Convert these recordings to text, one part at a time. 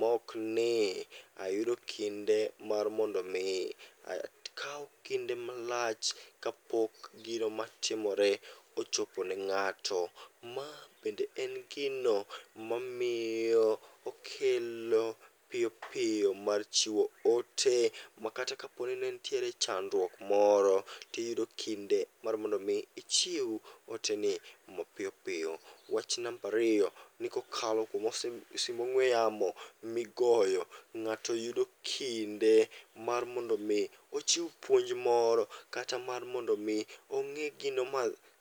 mokni ayudo kinde mar mondomi akaw kinde malach kapok gino matiore ochopo ne ng'ato. Ma bende en gino mamiyo okelo piyopiyo mar chiwo ote, makata kaponi ne nitiere chandruok moro tiyudo kinde mar mondo mi ichiw ote ni mapiyopiyo. Wach nambariyo ni kokalo simb ong'we yamo migoyo ng'ato yudo kinde mar mondo mi ochiw puonj moro kata mar mondo mi ong'i gino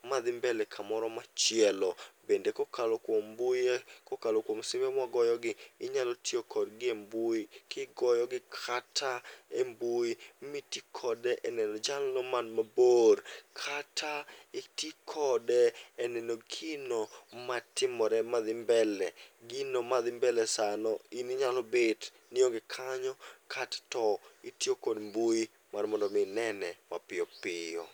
madhi mbele kamoro machielo. Bende kokalo kuom mbui, kokalo kuom simbe mwagoyogi, inyalo tiyo kodgi e mbui kigoyogi kata e mbui. Mi ti kode e neno jalno man mabor, kata iti kode e neno gino matimore madhi mbele. Gino madhi mbele sano in inyalo bet nionge kanyo, kato itiyo kod mbui mar mondo mi inene mapiyopiyo.